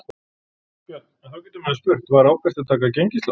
Björn: En þá getur maður spurt, var ábyrgt að taka gengislán?